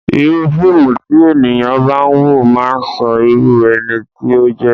Irúu fíìmù tí ènìyàn bá ń wò máà ń sọ irú ẹni tí ó jẹ́.